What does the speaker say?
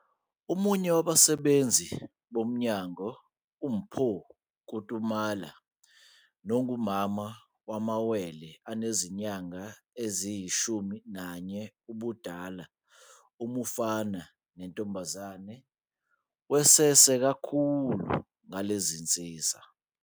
Omunye wabasebenzi bomnyango uMpho Kutumela nongumama wamawele anezinyanga eziyi-11 ubudala, umfana nentombazane, wesese kakhulu ngalensiza.